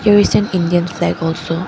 Here is an indian flag also.